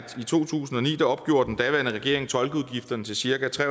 i to tusind og ni opgjorde den daværende regering tolkeudgifterne til cirka tre